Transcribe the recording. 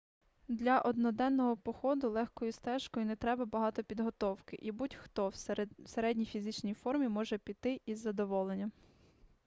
для одноденного походу легкою стежкою не треба багато підготовки і будь-хто в середній фізичній формі може піти із задоволенням